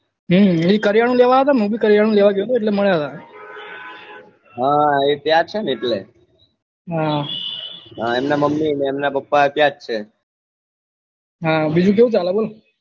હેં એભી કરયાનું લેવા આવ્યા હતા ને મુ ભી કરયાનું લેવા ગયો હતો એટલે મળ્યા હતા હે એ ત્યાં છે ને એટલે હા એમની muumy ને અમના papa ત્યાં જ છે હા બીજું કેવું ચાલે બોલો